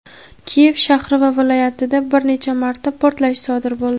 Kiyev shahri va viloyatida bir necha marta portlash sodir bo‘ldi.